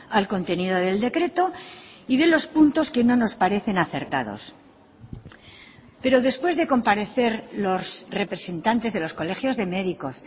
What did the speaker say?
al contenido del decreto y de los puntos que no nos parecen acertados pero después de comparecer los representantes de los colegios de médicos